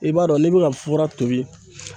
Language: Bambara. I b'a dɔn n'i bɛ ka fura tobi